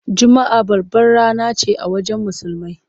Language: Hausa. Juma’a babbar rana ce a wajen Musulmai.